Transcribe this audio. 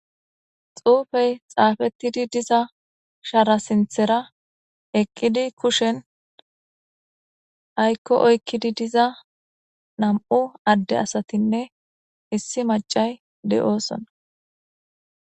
Xupeyi xapetidi diza shara sinithara ayiko oyikidi diza namu7u ade asatine issi macay di7osona